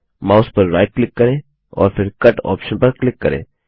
mouse पर right click करें और फिर कट ऑप्शन पर क्लिक करें